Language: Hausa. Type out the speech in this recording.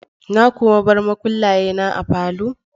Na kuwa bar makullaye na a falo?